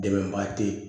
Dɛmɛba te ye